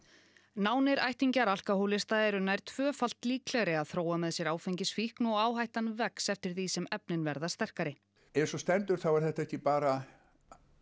nánir ættingjar alkóhólista eru nær tvöfalt líklegri að þróa með sér áfengisfíkn og áhættan vex eftir því sem efnin verða sterkari eins og stendur þá er þetta ekki bara